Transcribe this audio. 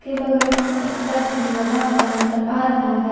के बगल मे एक टब भी लगा हुआ नजर आ रहा है।